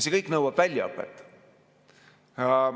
See kõik nõuab väljaõpet.